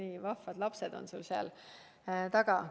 Nii vahvad lapsed on sul seal selja taga!